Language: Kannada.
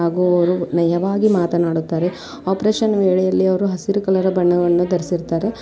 ಸುಂದರವಾಗಿ ಕಾಣುತ್ತಿರುವ ಹಚ್ಚ ಹಸಿರಿನ ಗಿಡಗಳು ಬೆಟ್ಟ ಗುಡ್ಡಗಳು ಆಕಾಶ ಮೋಡಗಳು ಸುಂದರವಾಗಿ ಕಾಣುತ್ತಿ-ಕಾಣುತ್ತಿದೆ .